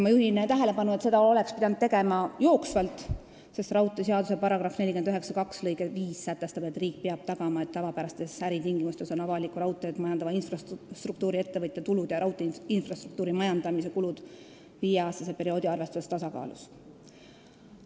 Ma juhin tähelepanu, et seda oleks pidanud tegema jooksvalt, sest raudteeseaduse § 492 lõige 5 sätestab, et riik peab tagama, et tavapärastes äritingimustes oleksid avalikku raudteed majandava infrastruktuuriettevõtja tulud ja raudteeinfrastruktuuri majandamise kulud viieaastase perioodi arvestuses tasakaalus.